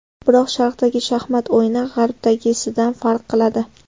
Biroq Sharqdagi shaxmat o‘yini G‘arbdagisidan farq qiladi.